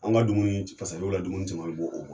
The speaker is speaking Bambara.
Anw ka dumuni ni la dumuni